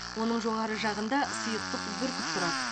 оның жоғары жағында сұйықтық бүркіп тұрды